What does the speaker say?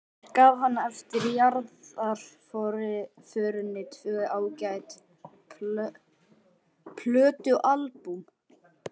Mér gaf hann eftir jarðarförina tvö ágæt plötualbúm.